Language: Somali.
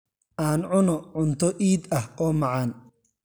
Aan cunno cunto iid ah oo macaan.